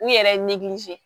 U yɛrɛ